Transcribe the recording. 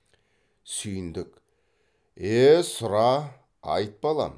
сүйіндік е сұра айт балам